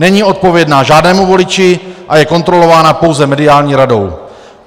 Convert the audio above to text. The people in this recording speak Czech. Není odpovědná žádnému voliči a je kontrolována pouze mediální radou.